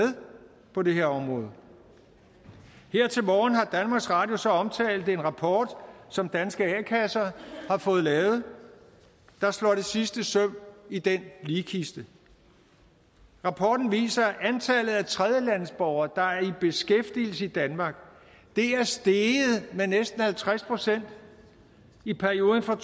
på det her område her til morgen har danmarks radio så omtalt en rapport som danske a kasser har fået lavet der slår det sidste søm i den ligkiste rapporten viser at antallet af tredjelandsborgere der er i beskæftigelse i danmark er steget med næsten halvtreds procent i perioden fra